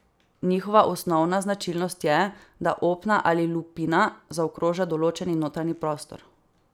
Njihova osnovna značilnost je, da opna ali lupina zaokroža določeni notranji prostor.